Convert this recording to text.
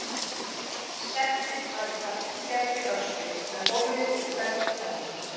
Settið var í þar til gerðri öskju með hólfi fyrir hvern penna.